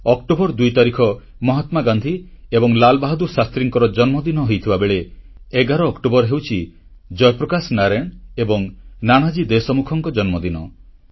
October 2 ତାରିଖ ମହାତ୍ମା ଗାନ୍ଧୀ ଏବଂ ଲାଲ ବାହାଦୁର ଶାସ୍ତ୍ରୀଙ୍କ ଜନ୍ମଦିନ ହୋଇଥିବା ବେଳେ 11 ଅକ୍ଟୋବର ହେଉଛି ଜୟପ୍ରକାଶ ନାରାୟଣ ଏବଂ ନାନାଜୀ ଦେଶମୁଖଙ୍କ ଜନ୍ମଦିନ